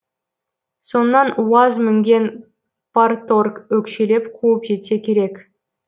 соңынан уаз мінген парторг өкшелеп қуып жетсе керек